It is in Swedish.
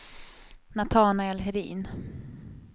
Natanael Hedin